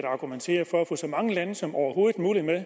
og argumenterer for at få så mange lande som overhovedet muligt med